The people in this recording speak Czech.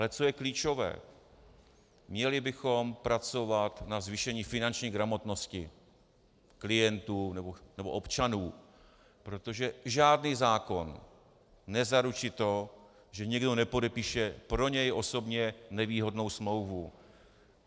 Ale co je klíčové: Měli bychom pracovat na zvýšení finanční gramotnosti klientů nebo občanů, protože žádný zákon nezaručí to, že někdo nepodepíše pro něj osobně nevýhodnou smlouvu.